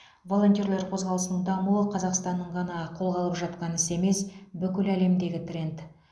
волонтерлер қозғалысының дамуы қазақстанның ғана қолға алып жатқан ісі емес бүкіл әлемдегі тренд